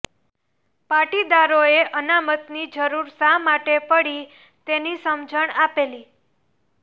પાટીદારો એ અનામતની જરૂર શા માટે પડી તેની સમજણ આપેલી